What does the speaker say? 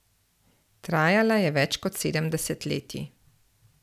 Trajala je več kot sedem desetletij.